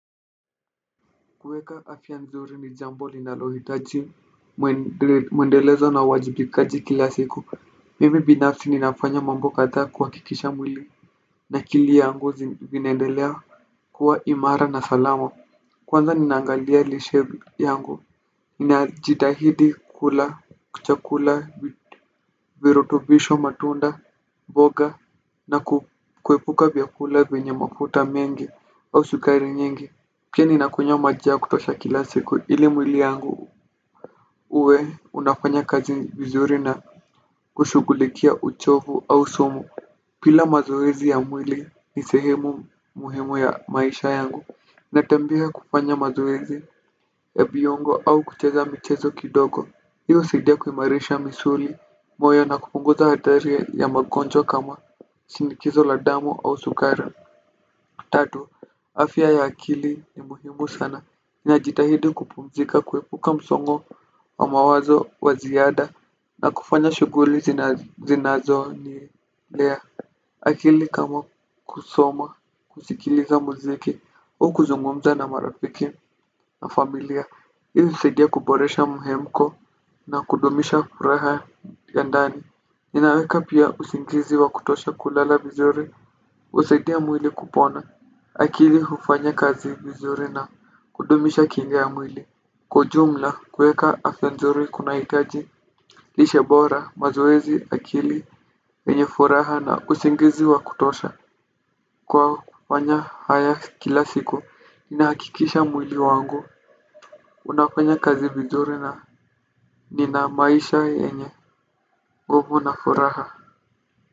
Kuweka afya nzuri ni jambo linalohitaji mwendelezo na uwajibikaji kila siku mimi binafsi ninafanya mambo katha kuhakikisha mwili na akili yangu zineendelea kuwa imara na salama kwanza ninaangalia lishe yangu ninajidahidi kula chakula virutubisho matunda mboga na kuepuka vyakula vyenye mafuta mengi au shukari nyingi. Pia ninakunywa maji ya kutosha kila siku ili mwili yangu uwe unafanya kazi vizuri na kushugulikia uchovu au sumu bila mazoezi ya mwili ni sehemu muhimu ya maisha yangu. Natembea kufanya mazoezi ya viongo au kucheza michezo kidogo. Hii husaidia kuimarisha misuli moyo na kupunguza hatari ya magonjwa kama shinikizo la damu au sukari. Tatu, afya ya akili ni muhimu sana. Niajitahidi kupumzika, kuepuka msongo wa mawazo wa ziada na kufanya shughuli zinazonilea akili kama kusoma, kusikiliza muziki au kuzungumza na marafiki na familia ili kusaidia kuboresha mhemko na kudumisha furaha ya ndani. Ninaweka pia usingizi wa kutosha kulala vizuri. Usaidia mwili kupona. Akili hufanya kazi vizuri na kudumisha kinga ya mwili. Kwa ujumla kueka afya nzuri kunaitaji lishe bora mazoezi akili enye furaha na usingizi wa kutosha kwa hufanya haya kila siku inahakikisha mwili wangu unafanya kazi vizuri na nina maisha yenye nguvu na furaha.